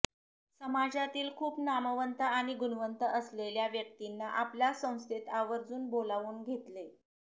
समाजातील खूप नामवंत आणि गुणवंत असलेल्या व्यक्तींना आपल्या संस्थेत आवर्जून बोलावून घेतले